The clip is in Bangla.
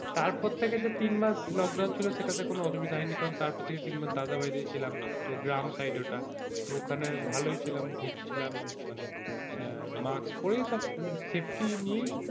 তারপর থেকে যে তিন মাস লোকডাউন ছিলো সেটাতে কোনো অসুবিধা হয়নি কারণ তারপর থেকে তিনমাস দাদার বাড়িতেই ছিলাম তো গ্রাম side ওটা তো ওখানে ভালোই ছিলাম ঘুরছিলাম মানে হম মাস্ক পরে সব safety নিয়েই,